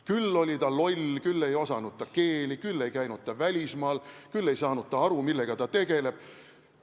Küll oli ta loll, küll ei osanud ta keeli, küll ei käinud ta välismaal, küll ei saanud ta aru, millega ta tegeleb.